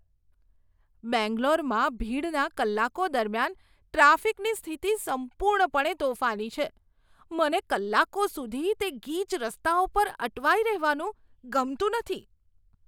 બેંગ્લોરમાં ભીડના કલાકો દરમિયાન ટ્રાફિકની સ્થિતિ સંપૂર્ણપણે તોફાની છે. મને કલાકો સુધી તે ગીચ રસ્તાઓ પર અટવાઈ રહેવાનું ગમતું નથી.